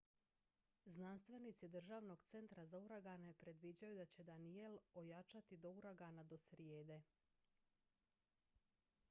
znanstvenici državnog centra za uragane predviđaju da će danielle ojačati do uragana do srijede